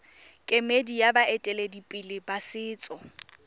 kemedi ya baeteledipele ba setso